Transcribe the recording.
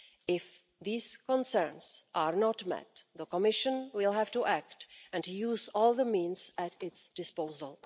If these concerns are not met, the Commission will have to act and to use all the means at its disposal.